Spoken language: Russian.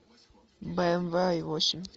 бмв ай восемь